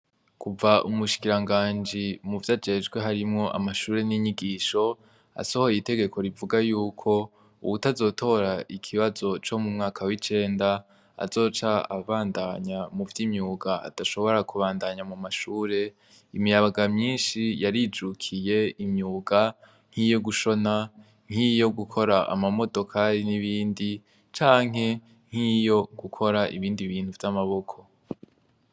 Kuva umushikiranganji, muvyo ajejwe harimwo amashure n'inyigisho, asohoye itegeko rivuga yuko uwutazora ikibazo co mu mwaka w'icenda azoca abandanya muvy'imyuga, adashobora kubandanya mu mashure, imiyabaga myishi yarijukiye imyuga nk'iyo gushona, nk'iyo gukora amamodokari n'ibindi, canke nk'iyo gukora ibindi bintu vy'amaboko.